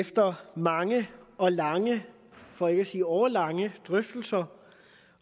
efter mange og lange for ikke at sige årelange drøftelser